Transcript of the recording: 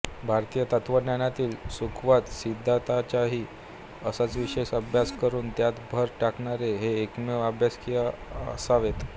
भारतीय तत्त्वज्ञानातील सुखवाद सिद्धांताचाही असाच विशेष अभ्यास करून त्यात भर टाकणारे ते एकमेव अभ्यासक असावेत